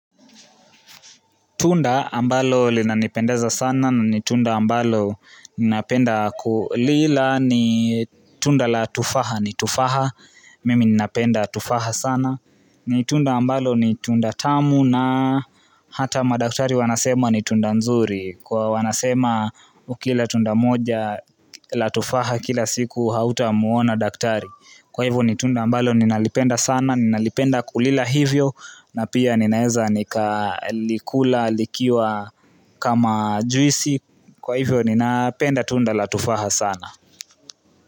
Tunda ambalo linanipendeza sana na nitunda ambalo ninapenda kulila ni tunda latufaha, nitufaha, mimi ninapenda latufaha sana. Nitunda ambalo nitunda tamu na hata madaktari wanasema nitunda nzuri kwa wanasema ukila tunda moja la tufaha kila siku hauta muona daktari. Kwa hivyo ni tunda ambalo ninalipenda sana, ninalipenda kulila hivyo na pia ninaeza nikalikula, likiwa kama juisi. Kwa hivyo ni napenda tunda la tufaha sana.